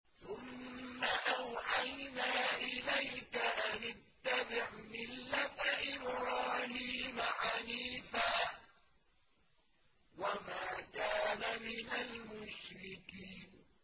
ثُمَّ أَوْحَيْنَا إِلَيْكَ أَنِ اتَّبِعْ مِلَّةَ إِبْرَاهِيمَ حَنِيفًا ۖ وَمَا كَانَ مِنَ الْمُشْرِكِينَ